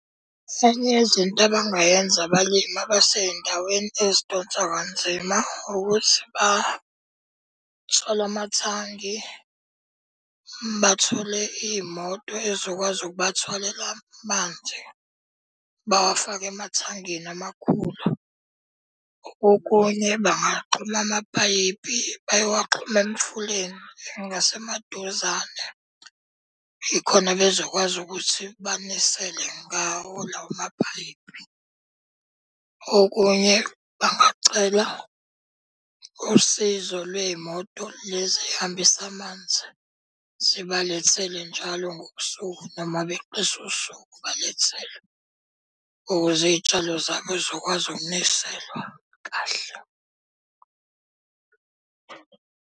Enye yezinto abangayenza abalimi abasey'ndaweni ezidonsa kanzima, ukuthi bathole amathangi. Bathole iy'moto ey'zokwazi ukubathwalela amanzi, bawafake emathangini amakhulu. Okunye bangaxhuma amapayipi bayowaxhuma emfuleni ngasemaduzane. Yikhona bezokwazi ukuthi banisele ngawo lawo mapayipi. Okunye bangacela usizo lwey'moto lezi ey'hambisa amanzi zibalethele njalo ngosuku noma beqise usuku balethelwe. Ukuze iy'tshalo zabo yizokwazi ukuniselwa kahle.